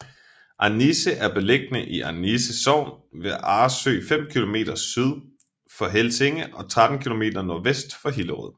Annisse er beliggende i Annisse Sogn ved Arresø fem kilometer syd for Helsinge og 13 kilometer nordvest for Hillerød